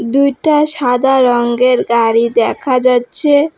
দুইটা সাদা রঙ্গের গাড়ি দেখা যাচ্ছে।